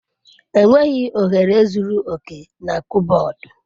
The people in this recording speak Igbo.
Enweghị ohere zuru oke na kọbọd.